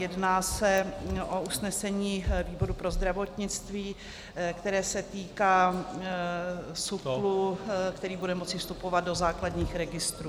Jedná se o usnesení výboru pro zdravotnictví, které se týká SÚKL, který bude moci vstupovat do základních registrů.